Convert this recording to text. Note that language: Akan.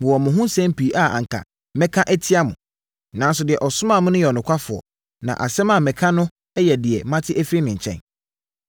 Mewɔ mo ho nsɛm pii a anka mɛka atia mo. Nanso, deɛ ɔsomaa me no yɛ ɔnokwafoɔ na asɛm a meka no yɛ deɛ mate afiri ne nkyɛn.”